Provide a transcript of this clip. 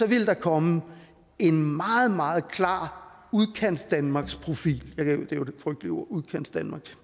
ville der komme en meget meget klar udkantsdanmarkprofil udkantsdanmark